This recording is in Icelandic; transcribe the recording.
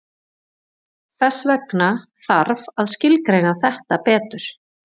Þess vegna þarf að skilgreina þetta betur.